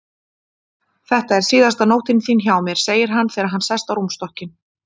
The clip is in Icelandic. Þetta er síðasta nóttin þín hjá mér, segir hann þegar hann sest á rúmstokkinn.